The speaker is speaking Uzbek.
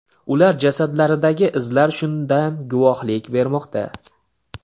Ular jasadlaridagi izlar shundan guvohlik bermoqda.